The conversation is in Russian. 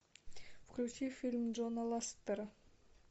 включи фильм джона ластера